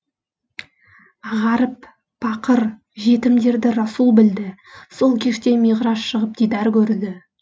ғаріп пақыр жетімдерді расул білді сол кеште миғраж шығып дидар көрді